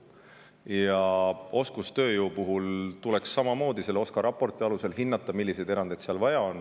Ja oskustööjõu puhul tuleks samamoodi selle OSKA raporti alusel hinnata, milliseid erandeid seal vaja on.